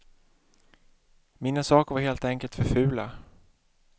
Mina saker var helt enkelt för fula.